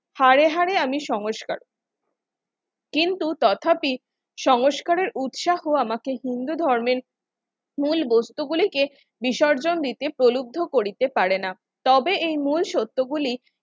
হারে হারে আমি সংস্কার কিন্তু তথাপি সংস্কারের উৎসাহ আমাকে হিন্দু ধর্মের মূল বস্তুগুলোকে বিসর্জন দিতে প্রলুব্ধ করিতে পারে না তবে এই মূল সত্যগুলি